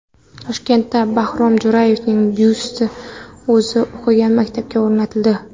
Toshkentda Bahrom Jo‘rayevning byusti o‘zi o‘qigan maktabga o‘rnatildi.